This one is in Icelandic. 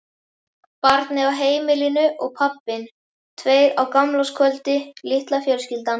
Barnið á heimilinu og pabbinn, tveir á gamlárskvöldi, litla fjölskyldan.